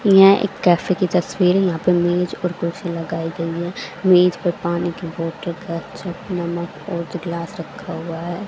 यह एक कैफे की तस्वीर है यहां पे मेज और कुर्सी लगाई गई है मेज पर पानी की बोतल नमक और ग्लास रखा हुआ है।